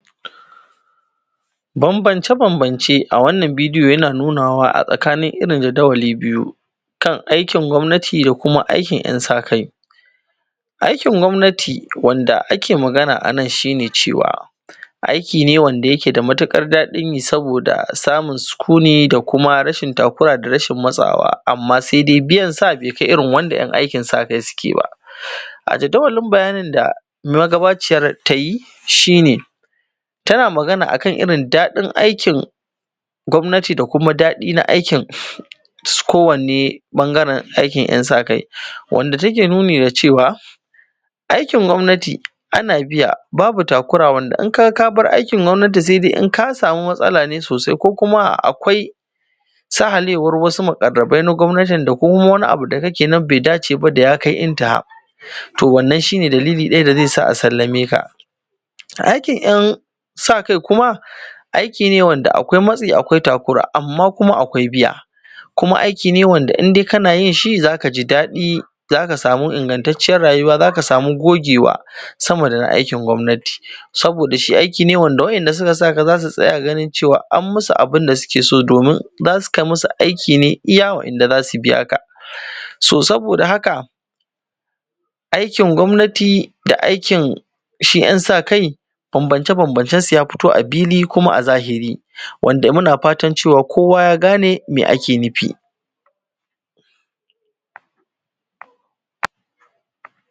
bambamce-bambamce a wannan bidiyo yana nuna wa a tsakanin iri jadawali biyu kan aikin gwamnati da kuma aikin ‘yan sa kai aikin gwamnati wanda ake magana anan shi ne cewa aiki ne wanda ke da matuƙar daɗin yi saboda samun sukuni da kuma rashin takura da rashin matsawa amman sai dai biyan sa bai kai irin wanda ‘yan aikin sa kai suke ba a jadawalin bayanin da magabaciyar tayi shi ne tana magana akan irin daɗin aikin gwamnati da kuma daɗin aikin kowanne ɓangaren aikin ‘yan sa kai wanda take nuni da cewa aikin gwamnati ana biya babu takura wanda idan ka gaka bar aikin gwamnati sai dai in ka samu matsala ne sosai ko kuma akwai sahalewar wasu muƙarrabai na gwamnatin da kuma wani abu da kake kuma bai dace ba da ya kai intaha to wannan shi ne dalili ɗaya da zai sa a sallame ka aikin ‘yan sa kai kuma aiki ne wanda akwai matsi akwai takura amman kuma akwai biya kuma aiki ne wanda indai kana yin shi zaka ji dadi zaka samu ingantaccen rayuwa zaka samu gogewa sama dana aikin gwamnati saboda shi aiki ne wanda waɗanda suka saka ka zasu tsaya ganin cewa an musu abunda suke so domin zasu kai musu aiki ne iya waɗanda zasu biyaka so saboda haka aikin gwamnati da aikin shi ‘yan sa kai bambamce-bambamcen su ya fito a fili kuma a zahiri wanda muna fatan cewar kowa ya gane mai ake nufi